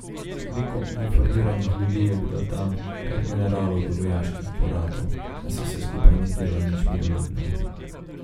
Toliko uniformiranih ljudi je bilo tam, od generalov do vojaških kuratov, da se vse skupaj ni zdelo nič miroljubno.